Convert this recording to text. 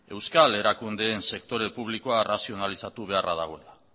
euskal erakundeen sektore publiko arrazionalizatu beharra dagoela